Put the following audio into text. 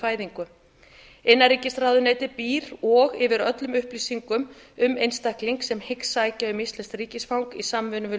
fæðingu innanríkisráðuneytið býr og yfir öllum upplýsingum um einstakling sem hyggst sækja um íslenskt ríkisfang í samvinnu við